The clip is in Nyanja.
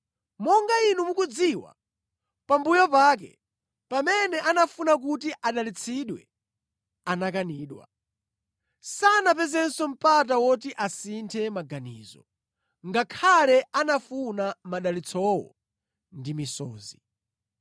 Monga inu mukudziwa, pambuyo pake pamene anafuna kuti adalitsidwe anakanidwa. Sanapezenso mpata woti asinthe maganizo, ngakhale anafuna madalitsowo ndi misozi.